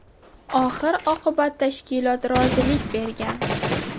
Oxir-oqibat tashkilot rozilik bergan.